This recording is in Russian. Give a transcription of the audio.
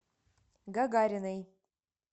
гагариной